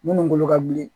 Minnu bolo ka bilen